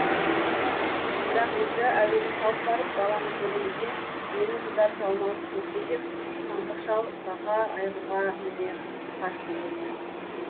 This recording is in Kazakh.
бірақ өзі әуелі салт барып баланы көреді де мені жұтар жалмауыз туыпты деп тантық шал бақа айғырға міне қашты дейді